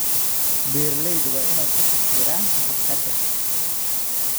Beeraleydu waa inay ka taxadaraan ka hortagga